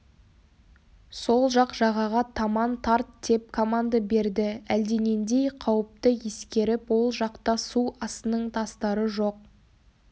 сол жақ жағаға таман тарт деп команда берді әлденендей қауіпті ескеріп ол жақта су астының тастары жоқ